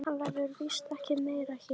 Hann verður víst ekki meira hér.